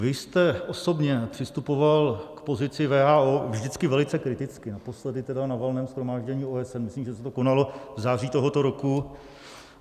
Vy jste osobně přistupoval k pozici WHO vždycky velice kriticky, naposledy tedy na Valném shromáždění OSN, myslím, že se to konalo v září tohoto roku.